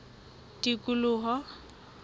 tikoloho